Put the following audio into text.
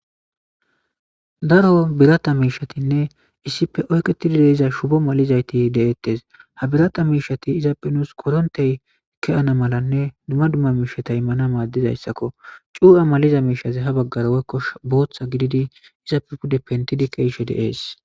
Darro biratta mishatine issipe oyiketi uttidda shipoti deyetesi, ha biratta mishati iyape nuss korinite immana malanne duma duma mishati madizayisako cuwa maliza mishazi ha baggara woyi botha gididi izape pentidi keyishe desi.